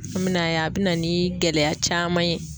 An be na ye, a bi na ni gɛlɛya caman ye